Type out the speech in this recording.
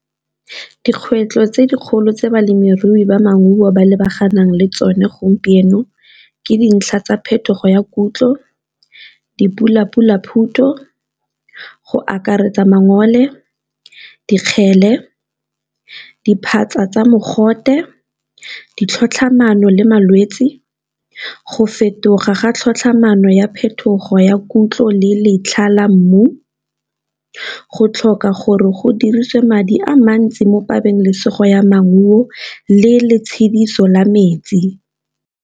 Dikgwetlho tse dikgolo tse balemirui ba maungo ba lebaganeng le tsone gompieno ke dintlha tsa phetogo ya kutlo, dipula , go akaretsa mangole, dikgele, diphatsa tsa mogote, ditlhatlhamano le malwetse, go fetoga ga tlhatlhamano ya phetogo ya kutlo le letlha la mmu, go tlhoka gore go diriswe madi a mantsi mo pabalesego ya maungo le letshediso la metsi.